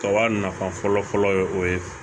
Kaba nafa fɔlɔ fɔlɔ ye o ye